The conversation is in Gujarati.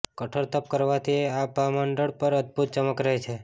કઠોર તપ કરવાથી આભામંડળ પર અદભૂત ચમક રહે છે